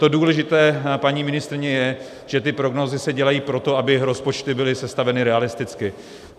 To důležité, paní ministryně, je, že ty prognózy se dělají proto, aby rozpočty byly sestaveny realisticky.